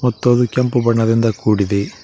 ಮತ್ತು ಅದು ಕೆಂಪು ಬಣ್ಣದಿಂದ ಕೂಡಿದೆ.